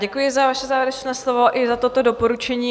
Děkuji za vaše závěrečné slovo i za toto doporučení.